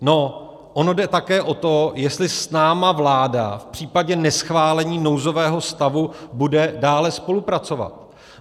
No, ono jde také o to, jestli s námi vláda v případě neschválení nouzového stavu bude dále spolupracovat.